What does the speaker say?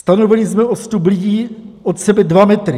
Stanovili jsme odstup lidí od sebe 2 metry.